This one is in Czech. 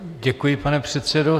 Děkuji, pane předsedo.